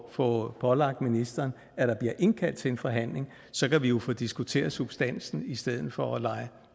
at få pålagt ministeren at der bliver indkaldt til en forhandling så kan vi jo få diskuteret substansen i stedet for at lege